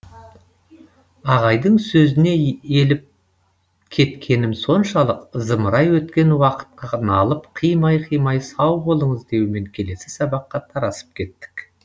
ағайдың сөзіне еліп кеткенім соншалық зымырай өткен уақытқа налып қимай қимай сау болыңыз деумен келесі сабаққа тарасып кеттік